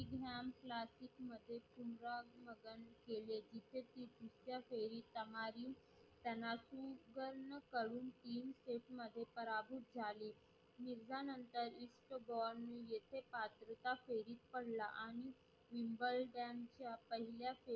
हिताहली त्यांना गूकहण कडून तीन face मध्ये पराभूत झाली मिर्झा नंतर इक्त गुवाही येथे पात्रता फेरीत पडला. आणि उमरड्यांच्या पहिल्या फेरीत